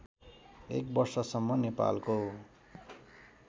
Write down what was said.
एक वर्षसम्म नेपालको